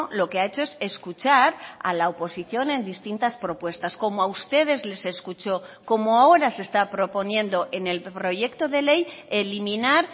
lo que ha hecho es escuchar a la oposición en distintas propuestas como a ustedes les escuchó como ahora se está proponiendo en el proyecto de ley eliminar